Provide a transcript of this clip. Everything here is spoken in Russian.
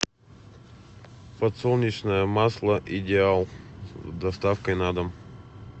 подсолнечное масло идеал с доставкой на дом